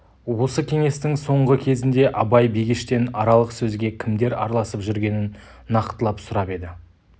осы кеңестің соңғы кезінде абай бегештен аралық сөзге кімдер араласып жүргенін нақтылап сұрап еді